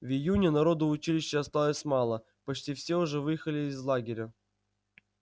в июне народу в училище осталось мало почти все уже выехали из лагеря